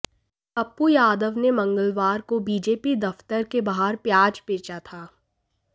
पप्पू यादव ने मंगलवार को बीजेपी दफ्तर के बाहर प्याज बेचा था